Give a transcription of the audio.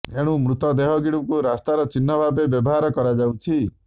ଏଣୁ ମୃତ ଦେହଗୁଡ଼ିକୁ ରାସ୍ତାର ଚିହ୍ନ ଭାବେ ବ୍ୟବହାର କରାଯାଉଛି